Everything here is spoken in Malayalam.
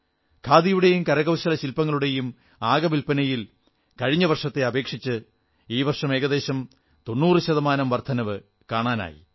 ഖാദിയുടെയും കരകൌശലശിൽപ്പങ്ങളുടെയും ആകെ വിൽപനയിൽ കഴിഞ്ഞ വർഷത്തെ അപേക്ഷിച്ച് ഈ വർഷം ഏകദേശം 90 ശതമാനം വർധനവ് കാണാനായി